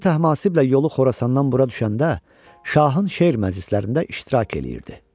Oğlu Təhmasiblə yolu Xorasandan bura düşəndə, şahın şeir məclislərində iştirak eləyirdi.